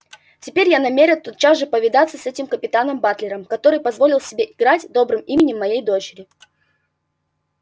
теперь я намерен тотчас же повидаться с этим капитаном батлером который позволил себе играть добрым именем моей дочери